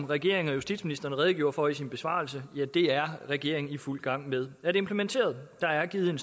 regeringen og justitsministeren redegjorde for i besvarelsen er regeringen i fuld gang med at implementere der er givet en